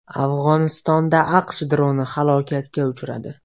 Afg‘onistonda AQSh droni halokatga uchradi.